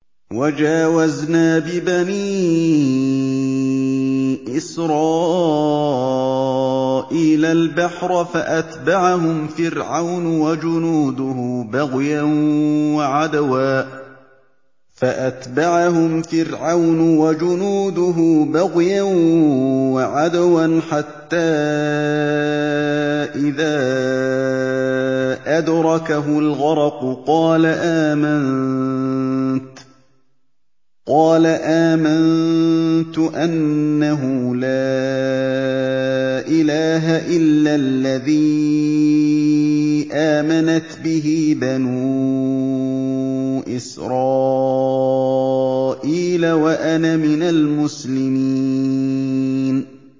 ۞ وَجَاوَزْنَا بِبَنِي إِسْرَائِيلَ الْبَحْرَ فَأَتْبَعَهُمْ فِرْعَوْنُ وَجُنُودُهُ بَغْيًا وَعَدْوًا ۖ حَتَّىٰ إِذَا أَدْرَكَهُ الْغَرَقُ قَالَ آمَنتُ أَنَّهُ لَا إِلَٰهَ إِلَّا الَّذِي آمَنَتْ بِهِ بَنُو إِسْرَائِيلَ وَأَنَا مِنَ الْمُسْلِمِينَ